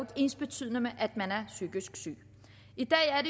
ensbetydende med at man er psykisk syg i dag er